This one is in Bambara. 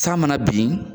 San mana bin